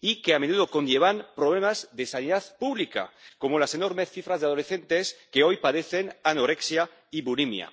y que, a menudo, conllevan problemas de sanidad pública, como las enormes cifras de adolescentes que hoy padecen anorexia y bulimia.